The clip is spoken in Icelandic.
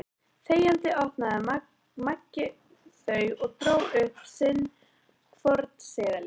Þegjandi opnaði Maggi þau og dró upp sinn hvorn seðilinn.